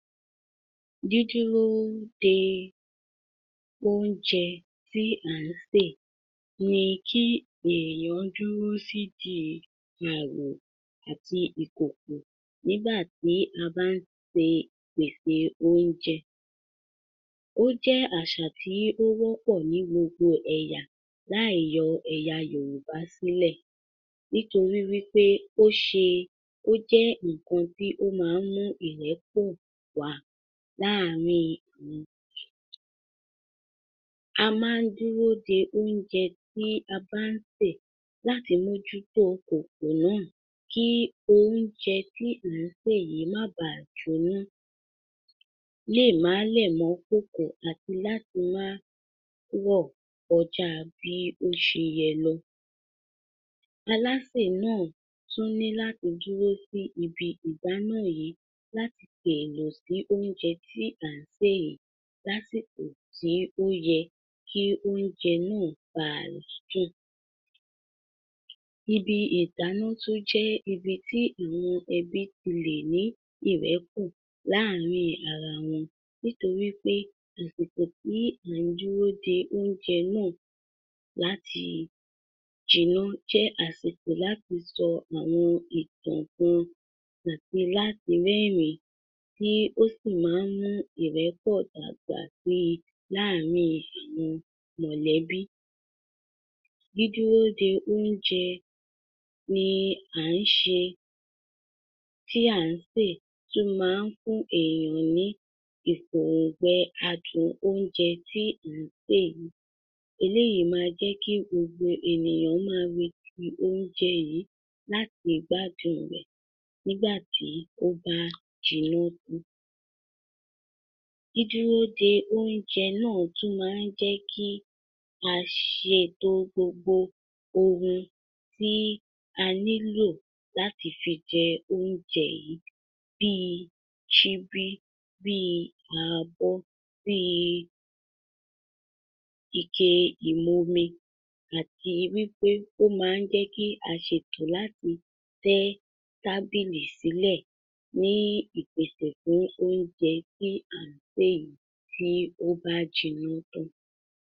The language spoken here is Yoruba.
Dídúróó dee oúnjẹ tí à ń sè ni kí èèyàn dúró sídìí ààrò àti ìkòkò nígbà tí a bá ń se pèsè oúnjẹ. Ó jẹ́ àsà tíí ó wọ́pọ̀ ní gbogbo ẹ̀yà láì yọ ẹ̀yà Yòrùbá sílẹ̀, nítorí wí pé ó ṣe ó jẹ́ nǹkan tí ó má ń mú ìrẹ́pọ̀ wá láàrin. A má ń dúró de oúnjẹ tí a bá ń ṣe láti mójútó kòkò náà, kí oúnjẹ tí à ń sè yìí má baà jóná, léè má lẹ̀ mọ́ kókó, àti láti má rọ̀ kọjáa bí ó ṣe yẹ lọ. Alásè náà tún ní láti dúró sí ibi ìdáná yìí láti fèèlò sí oúnjẹ tí à ń sè ìí lásìkò tí ó yẹ kí oúnjẹ náà baà dùn. Ibi ìdáná tún jẹ́ ibi tí àwọn ẹbí tí lè ní ìrẹ́pọ̀ láàárín ara wọn, nítorí pé àsìkò tí à ń dúró de oúnjẹ náà láti jiná jẹ́ àsìkò láti sọ àwọn ìtàn kan àti láti rẹ́rìn-ín tí ó sì má ń mú ìrẹ́pọ̀ dàgbà sí i láàárín àwọn mọ̀lẹ̀bí. Dídúró dé oúnjẹ ni à ń ṣe tí à ń sè tí ó ma ń fún èèyàn ní ìgbòǹgbẹ́ adùn oúnjẹ tí à ń sè yìí. Eléyìí ma jẹ́ kí gbogbo ènìyàn má retí oúnjẹ láti gbádùn rẹ̀ nígbà tí ó bá jiná tán. Dídúró de oúnjẹ náà tún má ń jẹ́ kí a ṣetò gbogbo ohun tí a nílò láti fi jẹ oúnjẹ yìí. Bíi síbí bíi abọ́ bíi ike ìmomi àti wí pé ó ma ń jẹ́ kí a ṣetò láti tẹ́ tábìlì sílẹ̀ ní ìpèsè fún oúnjẹ tí à ń sè yìí tí ó bá jiná tán